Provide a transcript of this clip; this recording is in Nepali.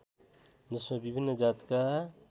जसमा विभिन्न जातका